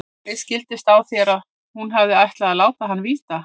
Mér skildist á þér að hún hefði ætlað að láta hann róa.